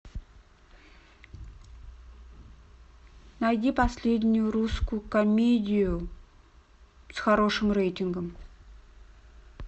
найди последнюю русскую комедию с хорошим рейтингом